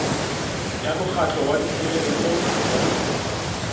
ya mokgatlo wa tshireletso ya